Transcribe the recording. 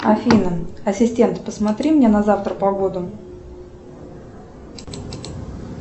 афина ассистент посмотри мне на завтра погоду